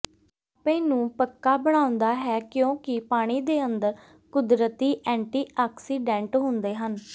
ਾਪੇ ਨੂੰ ਪੱਕਾ ਬਣਾਉਂਦਾ ਹੈ ਕਿਉਂਕਿ ਪਾਣੀ ਦੇ ਅੰਦਰ ਕੁਦਰਤੀ ਐਂਟੀ ਆਕਸੀਡੈਂਟ ਹੁੰਦੇ ਹਨ